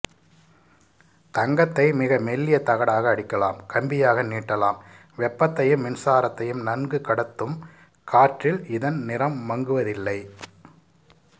தங்கத்தை மிக மெல்லிய தகடாக அடிக்கலாம் கம்பியாக நீட்டலாம் வெப்பத்தையும் மின்சாரத்தையும் நன்கு கடத்தும் காற்றில் இதன் நிறம் மங்குவதில்லை